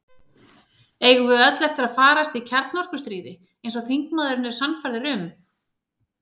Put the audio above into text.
Eigum við öll eftir að farast í kjarnorkustríði, eins og þingmaðurinn er sannfærður um?